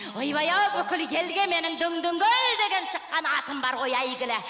ойбай ау бүкіл елге менің дүңдүңгүл деген шыққан атым бар ғой әйгілі